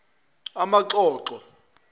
amaxoxo